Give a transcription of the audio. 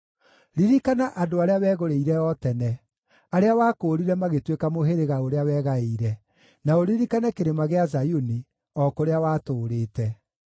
Ririkana andũ arĩa wegũrĩire o tene, arĩa wakũũrire magĩtuĩka mũhĩrĩga ũrĩa wegaĩire, na ũririkane Kĩrĩma gĩa Zayuni, o kũrĩa watũũrĩte.